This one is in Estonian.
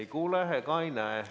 Ei kuule ega näe.